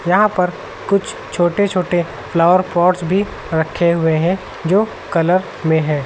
यहां पर कुछ छोटे छोटे फ्लावर पॉट्स भी रखे हुए हैं जो कलर में हैं।